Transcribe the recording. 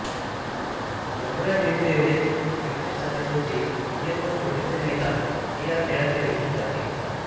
लगोऱ्या चेंडू एवढेच साहित्य साधे सोपे नियम व छोटेसे मैदान हे या खेळाचे वैशिष्ट्य आहे